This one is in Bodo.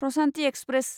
प्रसान्ति एक्सप्रेस